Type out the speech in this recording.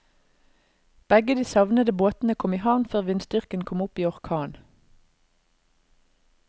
Begge de savnede båtene kom i havn før vindstyrken kom opp i orkan.